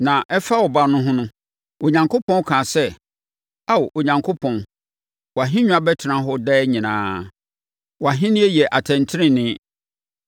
Na ɛfa Ɔba no ho no, Onyankopɔn kaa sɛ, “Ao, Onyankopɔn, wʼahennwa bɛtena hɔ daa nyinaa; wʼAhennie yɛ atɛntenenee.